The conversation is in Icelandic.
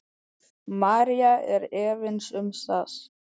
María er efins um það.